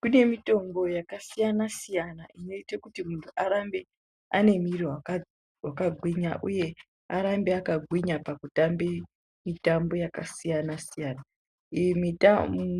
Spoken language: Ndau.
Kune mitombo yakasiyana siyana inoite kuti muntu arambe aine mwiri wakagwinya uye arambe akagwinya pakutambe mitambo yakasiyana siyana iyi